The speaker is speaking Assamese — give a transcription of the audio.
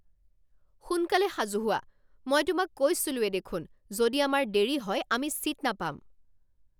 সোনকালে সাজু হোৱা! মই তোমাক কৈছিলোঁৱেই দেখোন যদি আমাৰ দেৰী হয় আমি ছীট নাপাম।